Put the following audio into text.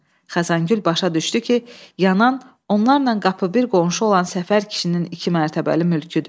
Xəzəngül başa düşdü ki, yanan onlarla qapıbir qonşu olan Səfər kişinin iki mərtəbəli mülküdür.